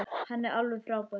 Hann er alveg frábær.